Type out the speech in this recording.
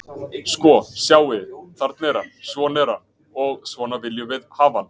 Sko, sjáið þið, þarna er hann, svona er hann og svona viljum við hafa hann.